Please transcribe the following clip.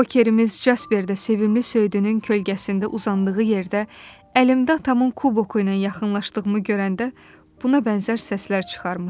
Kokerimiz Cəsbərdə sevimli söyüdünün kölgəsində uzandığı yerdə əlimdə atamın kuboku ilə yaxınlaşdığımı görəndə buna bənzər səslər çıxarmışdı.